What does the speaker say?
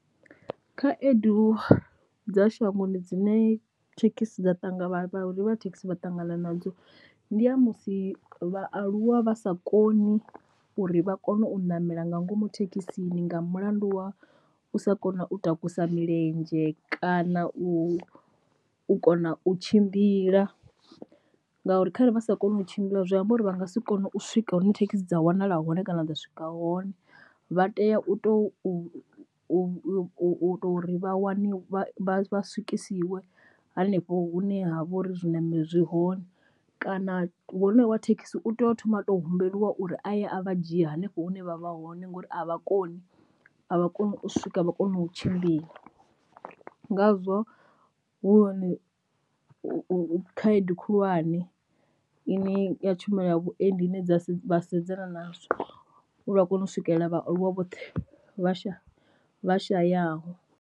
Khaedu dza shangoni dzine thekhisi dza ṱanganya vhareili vha thekhisi vha ṱangana nadzo ndi ya musi vhaaluwa vha sa koni uri vha kone u ṋamela nga ngomu thekhisini nga mulandu wa u sa kona u takusa milenzhe kana u kona u tshimbila, ngauri kharali vha sa koni u tshimbila zwi amba uri vha nga si kone u swika hune thekhisi dza wanala hone kana ḓo swika hone vha tea u to u u to ri vha wani vha vha swikisiwe hanefho hune ha vha uri zwi na miri zwi hone, kana honoyo wa thekhisi u tea u thoma a to humbelwa uri a ye a vha dzhia hanefho hune vha vha hone ngori a vha koni avha koni u swika a vha koni u tshimbila. Ngazwo hu hone u khaedu khulwane ine ya tshumelo ya vhuendi dzine dza vha sedzana nazwo uri a kone u swikelela vhaaluwa vhoṱhe vha sha vhashayaho.